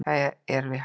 Það er við hæfi.